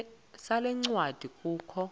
sale ncwadi kukho